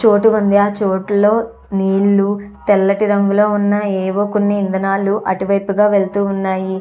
చోటు ఉంది ఆ చోటు లో నీళ్ళు తెల్లటి రంగులో ఉన్న ఏవో కొన్ని ఇంధనాలు అటు వైపుగా వెళ్తు ఉన్నాయి.